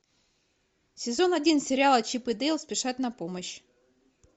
сезон один сериала чип и дейл спешат на помощь